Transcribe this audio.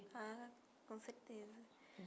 Ah, com certeza.